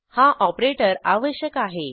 हा ऑपरेटर आवश्यक आहे